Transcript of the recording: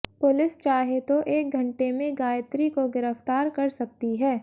police चाहे तो एक घंटे मे गायत्री को गिरफ्तार कर सकती है